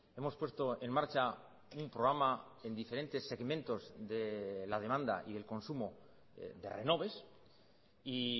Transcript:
hemos puesto en marcha un programa en diferentes segmentos de la demanda y el consumo de renoves y